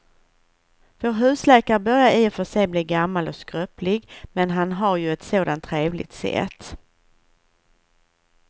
Vår husläkare börjar i och för sig bli gammal och skröplig, men han har ju ett sådant trevligt sätt!